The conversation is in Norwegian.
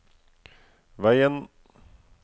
veien